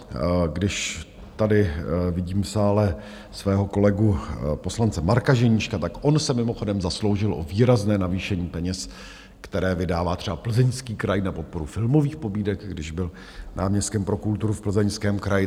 Když tady vidím v sále svého kolegu poslance Marka Ženíška, tak on se mimochodem zasloužil o výrazné navýšení peněz, které vydává třeba Plzeňský kraj na podporu filmových pobídek, když byl náměstkem pro kulturu v Plzeňském kraji.